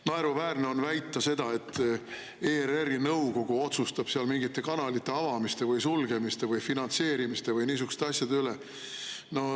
Naeruväärne on väita, et ERR-i nõukogu otsustab seal mingite kanalite avamise või sulgemise või finantseerimise, niisuguste asjade üle.